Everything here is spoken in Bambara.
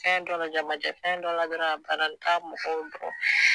Fɛn dɔla jamajɛnfɛn dɔla dɔrɔn a bana n t'a mɔgɔw dɔn